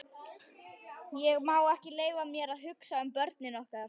Ég má ekki leyfa mér að hugsa um börnin okkar.